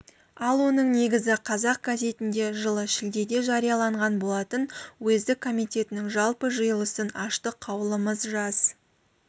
ал оның негізі қазақ газетінде жылы шілдеде жарияланған болатын уездік комитетінің жалпы жиылысын аштық қаулымыз жас